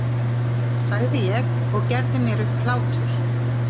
sagði ég og gerði mér upp hlátur.